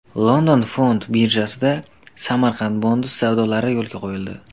London fond birjasida Samarkand Bonds savdolari yo‘lga qo‘yildi.